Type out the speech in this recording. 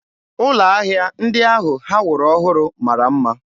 Ụlọ ahịa ndị ahụ ha wuru ọhụrụ mara mma.